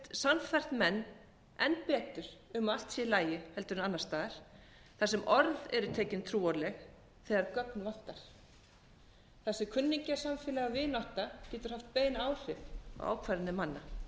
sannfært menn enn betur um að allt sé í lagi heldur en annars staðar þar sem orð eru tekin trúanleg þegar gögn vantar þar sem kunningjasamfélag og vinátta getur haft bein áhrif á ákvarðanir manna